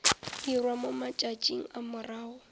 dirwa mo matšatšing a morago